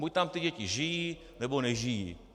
Buď tam ty děti žijí, nebo nežijí.